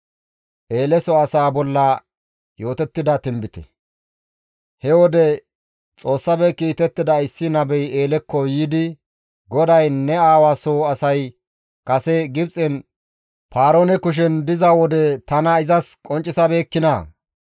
He wode Xoossafe kiitettida issi nabey Eelekko yiidi, «GODAY, ‹Ne aawa soo asay kase Gibxen Paaroone kushen diza wode tana izas qonccisabeekkinaa?